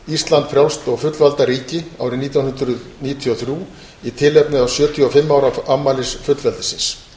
ísland frjálst og fullvalda ríki árið nítján hundruð níutíu og þrjú í tilefni sjötíu og fimm ára afmælis fullveldis